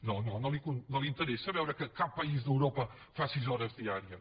no no li interessa veure que cap país d’europa fa sis hores diàries